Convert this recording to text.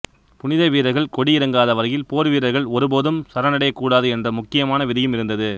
புனிதவீரர்கள் கொடி இறங்காத வரையில் போர்வீரர்கள் ஒருபோதும் சரணடையக்கூடாது என்ற முக்கியமான விதியும் இருந்தது